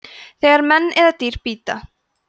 þegar menn eða dýr bíta